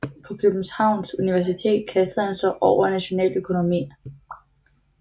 På Københavns Universitet kastede han sig over nationaløkonomi